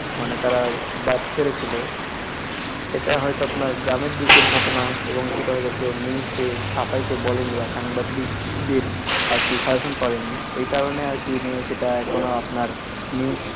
মানে তারা বাপ ছেলে ছিল এটা হয়ত আপনার গ্রামের দিকের ঘটনা এবং সেটা হয়ত কেও news দিয়ে ছাপাইতে বলেনি বা সাংবাদিকদের আরকি suggestion করেনি এই কারনে আরকি এই নিয়ে সেটা এখনও আপনার news